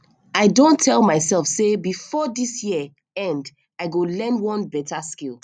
i don tell mysef sey before dis year end i go learn one beta skill